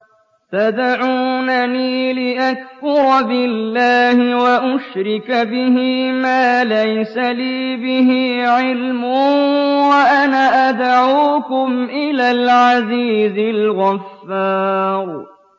تَدْعُونَنِي لِأَكْفُرَ بِاللَّهِ وَأُشْرِكَ بِهِ مَا لَيْسَ لِي بِهِ عِلْمٌ وَأَنَا أَدْعُوكُمْ إِلَى الْعَزِيزِ الْغَفَّارِ